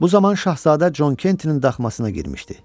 Bu zaman şahzadə Con Kentin daxmasına girmişdi.